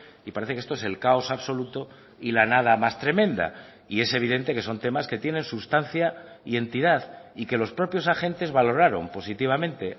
y parece que esto es el caos absoluto y la nada más tremenda y es evidente que son temas que tienen sustancia y entidad y que los propios agentes valoraron positivamente